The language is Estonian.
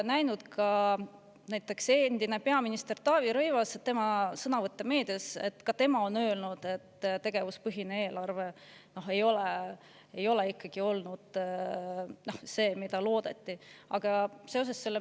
Näiteks on ka endine peaminister Taavi Rõivas öelnud, me oleme näinud tema sõnavõtte meedias, et tegevuspõhine eelarve ei ole olnud ikka see, mida loodeti.